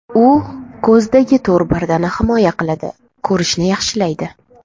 U ko‘zdagi to‘r pardani himoya qiladi, ko‘rishni yaxshilaydi.